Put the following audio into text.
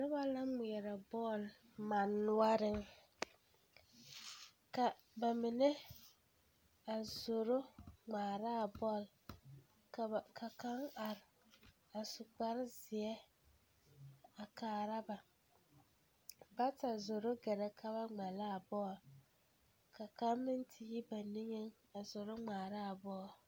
Noba la ŋmeɛrɛ bɔl manne noɔreŋ ka ba mine zoro ŋmaara a bɔl ka kaŋ are a su kparzeɛ a kaara ba bata zoro ɡɛrɛ ka ba ŋmɛ la a bɔl ka kaŋ meŋ te yi ba niŋeŋ a ŋmaara a bɔl.